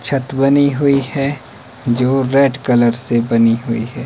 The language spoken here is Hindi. छत बनी हुई हैं जो रेड कलर से बनी हुई हैं।